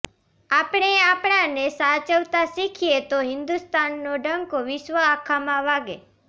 આપણે આપણા ને સાચવતા શીખયે તો હિન્દુસ્તાન નો ડંકો વિશ્વ આખા માં વાગે